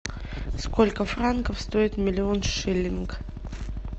сколько франков стоит миллион шиллингов